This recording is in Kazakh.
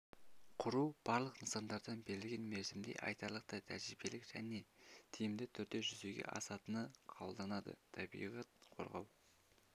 құру барлық нысандардан берілген мерзімде айтарлықтай тәжірибелік және тиімді түрде жүзеге асатыны қабылданады табиғат қорғау